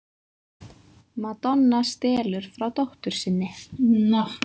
Madonna stelur frá dóttur sinni